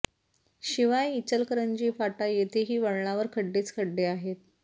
शिवाय इचलकरंजी फाटा येथेही वळणावर खड्डेच खड्डे आहेत